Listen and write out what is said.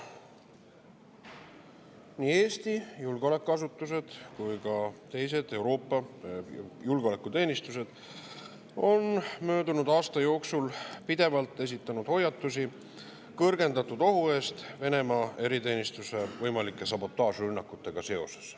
Nii Eesti julgeolekuasutused kui ka teised Euroopa julgeolekuteenistused on möödunud aasta jooksul pidevalt esitanud hoiatusi kõrgendatud ohu eest Venemaa eriteenistuse võimalike sabotaažirünnakutega seoses.